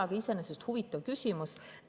Aga iseenesest on see huvitav küsimus.